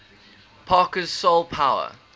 parker's soul power